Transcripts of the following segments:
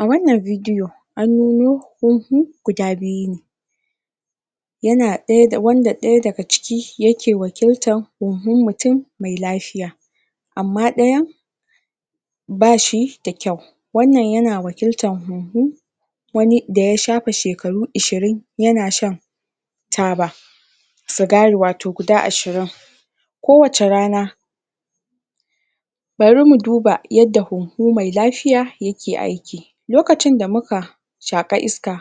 a wannan bidiyo an nuno waje guda biyu ne wanda daya daga ciki ya ke wakiltar huhun mutum mai lafiya amma dayan bashi da kyau wannan yana wakiltan huhu wani da ya shafe shekaru ashirin yana shan taba sigari wato guda ashirin ko wace rana bari muduba yanda huhu mai lafiya ya ke aiki lokacin da muka shaƙa iska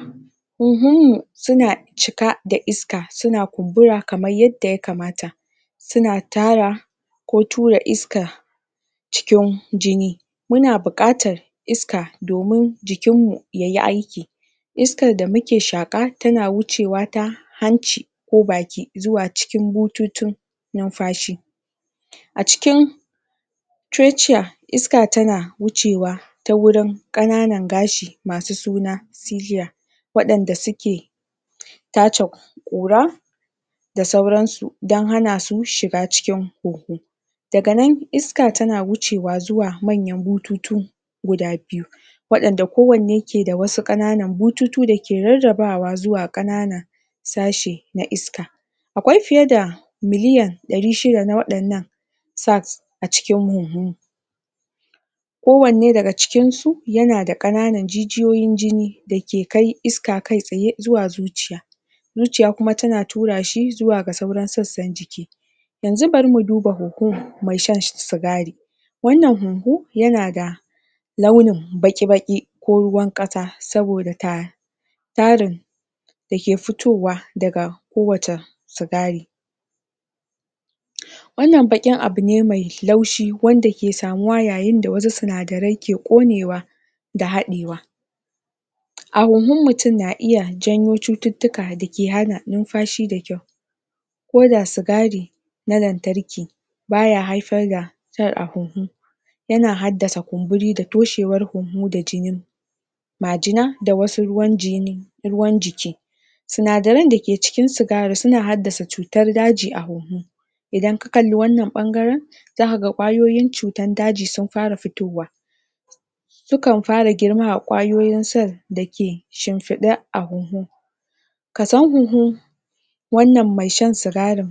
huhun mu suna cika da isaka suna kumbura kamar yadda ya kamata suna tara ko tura iska cikin jini muna bukatar iska domin jikin mu yayi aiki iskar da muke shaƙa tana wucewa ta hanci ko baki zuwa cikin bututun numfashi acikin tereciya iska tana wucewa ta wurin kananan gashi masu suna siliya wadan da suke tace ƙura da sauransu don hanasu shiga huhu dagana iska tana wuce zuwa manyan bututu guda biyu wadan da kowanne ke da wasu ƙananan bututu dake rarrabawa zuwa ƙanana tashi na iska akwai fiyeda miliyan dari shida na wadannan saks a cikin huhu kowanne daga cikinsu yana da ƙananan jijiyoyin jini da ke kai iska kai tsaye zuwa zuciya zuciya kuma tana tura shi zuwa sassan jii yanzu bari mu duba huhun mai shan sigari wannan huhu yana da launin baƙi baƙi ko ruwanƙasa saboda ta tarin da ke fiitowa daga kowata sigari wannan baƙin abune mai laushi wanda ke samuwa yayin da wasu sinadarai ke ƙonewa da hadewa a huhun mutum na iya janyo cuttuka dake hana numfashi da kyau ko da sigari na lantarki baya haifar cuttar a huhu yana haddasa kumburi da toshewar huhu da jini majina da wasu ruwan jiki sinadarai da ke cikin sigari suna haddasa cutar daji a huhu idan ka kalla wanan bangaren kwayoyin cutar daji su fara fitowa sukan fara girma a kwayoyin sel da ke shimfide a huhu kason huhu wannan mai sha sigarin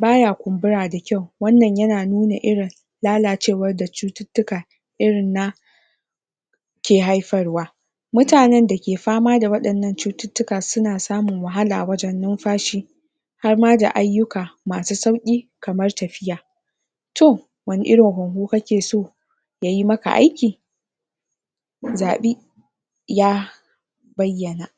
baya kumbura da kyau wannan yana nuna lalacewar da cututtuka irin na ke haifarwa mutanen da ke fama da wadanan cututtuka suna samun wahala wajen numfashi harma da ayyuka masu sauki kamar tafiya to wani irin huhu kake so yayi maka aiki mu zabi ya bayyana